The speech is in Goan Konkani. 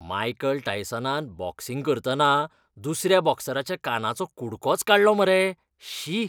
मायकल टायसनान बॉक्सिंग करतना दुसऱ्या बॉक्सराच्या कानाचो कुडकोच काडलो मरे. शी!